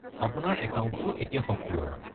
আপোনাৰ একাউণ্টটো এতিয়া সক্ৰিয়।